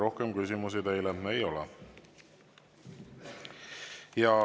Rohkem küsimusi teile ei ole.